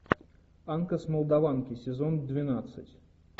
анка с молдаванки сезон двенадцать